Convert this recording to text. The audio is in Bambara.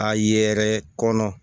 A ye yɛrɛ kɔnɔ